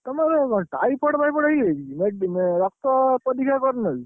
ତମର typhoid typhoid ହେଇଯାଇଛି କି ମେଡ୍, ରକ୍ତ ପରୀକ୍ଷା କରିନ କି?